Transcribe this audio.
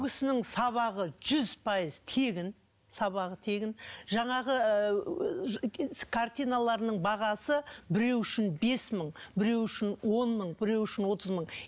сабағы жүз пайыз тегін сабағы тегін жаңағы ы картиналарының бағасы біреу үшін бес мың біреу үшін он мың біреу үшін отыз мың